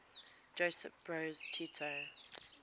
josip broz tito